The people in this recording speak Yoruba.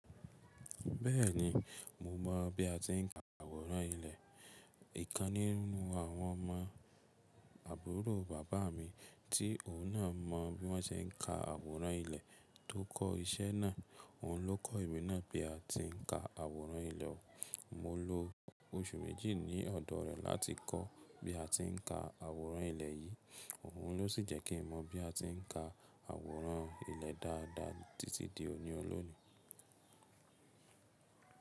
Bẹ́ẹ̀ni, mo mọ̀ bí a ti ń ka àwòrán ilẹ̀. Òkan nínú àwọn ọmọ àbúrò bàbá mi tí òhun náà mọ bí wọ́n ṣe ń ka àwòrán ilẹ̀ tó kọ́ iṣẹ́ náà, òhun ló kọ́ èmi náà bí a ti ń ka àwòrán ilẹ̀. Mo lo oṣù méjì ní ọ̀dọ̀ rẹ̀ láti kọ́ bí a ti ń ka àwòrán ilẹ̀ yìí. Òun ló sì jẹ́ kí mo mọ̀ bí a ti ń ka àwòrán ilẹ̀ dáadáa títí di òní ọlọ́níì.